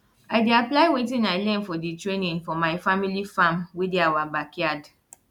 i dey apply wetin i learn for di training for my family farm wey dey awa backyard